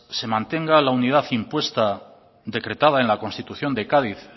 se mantenga la unidad impuesta decretada en la constitución de cádiz